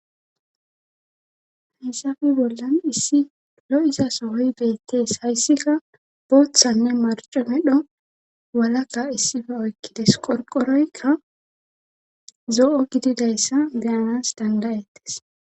hayssafe bollan issi lo7izasohoy beettees hayssika booththanne marco medho walaka issifa oykkides qorqoroykka zo7o gididayssa geanas dandayettes